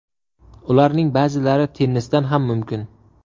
Ularning ba’zilari tennisdan ham mumkin”.